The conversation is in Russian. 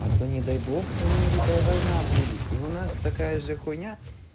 а то не дай бог с америкой война будет и у нас такая же хуйня